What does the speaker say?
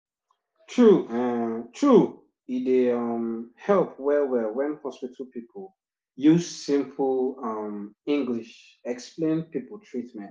true true e dey um help well well wen hospital people use simple um english explain people treatment